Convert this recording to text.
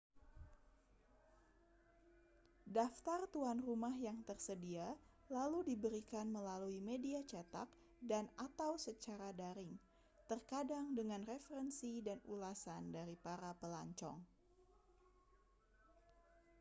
daftar tuan rumah yang tersedia lalu diberikan melalui media cetak dan/atau secara daring terkadang dengan referensi dan ulasan dari para pelancong